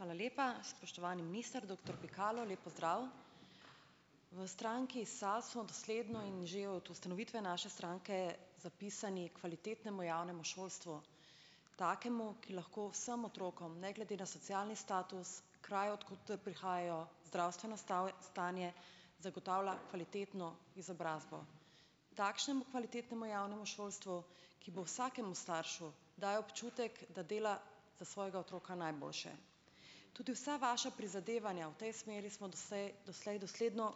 Hvala lepa. Spoštovani minister, doktor Pikalo, lep pozdrav. V stranki SAB smo dosledno in že od ustanovitve naše stranke zapisani h kvalitetnemu javnemu šolstvu, k takemu, ki lahko vsem otrokom ne glede na socialni status, kraj, od koder prihajajo, zdravstveno stanje zagotavlja kvalitetno izobrazbo, takšnemu kvalitetnemu javnemu šolstvu, ki bo vsakemu staršu dajalo občutek, da dela za svojega otroka najboljše. Tudi vsa vaša prizadevanja v tej smeri smo doslej dosledno,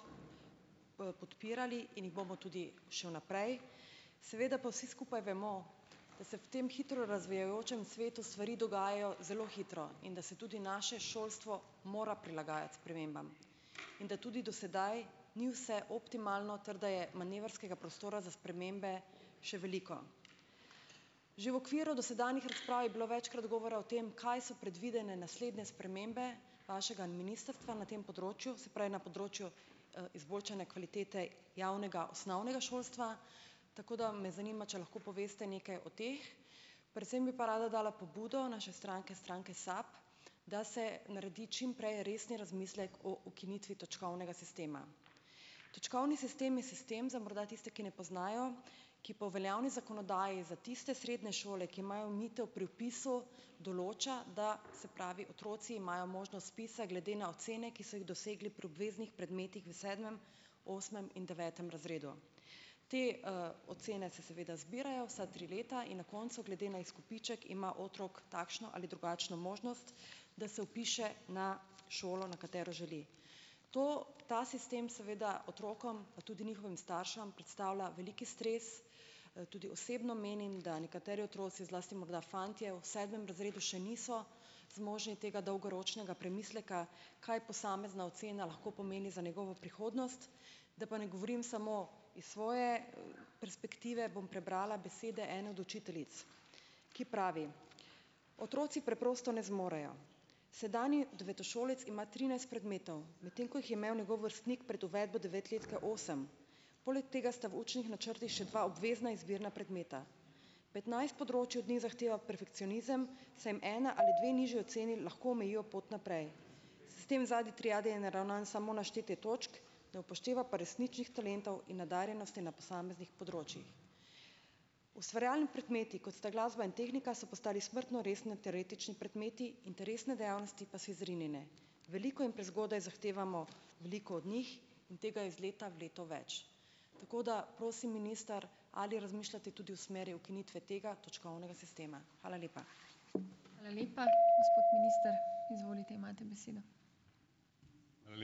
podpirali in jih bomo tudi še vnaprej. Seveda pa vsi skupaj vemo, da se v tem hitro razvijajočem svetu stvari dogajajo zelo hitro in da se tudi naše šolstvo mora prilagajati spremembam in da tudi do sedaj ni vse optimalno ter da je manevrskega prostora za spremembe še veliko. Že v okviru dosedanjih razprav je bilo večkrat govora o tem, kaj so predvidene naslednje spremembe vašega ministrstva na tem področju, se pravi na področju, izboljšanja kvalitete javnega osnovnega šolstva, tako da me zanima, če lahko poveste nekaj o teh. Predvsem pa bi rada dala pobudo naše stranke, stranke SAB, da se naredi čim prej resni razmislek o ukinitvi točkovnega sistema. Točkovni sistem je sistem za morda tiste, ki ne poznajo, ki po veljavni zakonodaji za tiste srednje šole, ki imajo omejitev pri vpisu, določa, da se pravi otroci imajo možnost vpisa glede na ocene, ki so jih dosegli pri obveznih predmetih v sedmem, osmem in devetem razredu. Te, ocene se zbirajo vsa tri leta in na koncu glede na izkupiček ima otrok takšno ali drugačno možnost, da se vpiše na šolo, na katero želi. To ta sistem seveda otrokom, pa tudi njihovim staršem, predstavlja veliki stres, tudi osebno menim, da nekateri otroci, zlasti morda fantje, v sedmem razredu še niso zmožni tega dolgoročnega premisleka, kaj posamezna ocena lahko pomeni za njegovo prihodnost, da pa ne govorim samo iz svoje perspektive, bom prebrala besede ene od učiteljic, ki pravi: "Otroci preprosto ne zmorejo. Sedanji devetošolec ima trinajst predmetov, medtem ko jih je imel njegov vrstnik pred uvedbo devetletke osem. Poleg tega sta v učnih načrtih še dva obvezna izbirna predmeta. Petnajst področij od njih zahteva perfekcionizem, saj jim ena ali dve nižji oceni lahko omejijo pot naprej. Sistem zadnje triade je naravnan samo na štetje točk, ne upošteva pa resničnih talentov in nadarjenosti na posameznih področjih. Ustvarjalni predmeti, kot sta glasba in tehnika, so postali smrtno resni teoretični predmeti, interesne dejavnosti pa so izrinjene. Veliko in prezgodaj zahtevamo veliko od njih in tega je iz leta v leto več." Tako da, prosim, minister, ali razmišljate tudi v smeri ukinitve tega točkovnega sistema? Hvala lepa.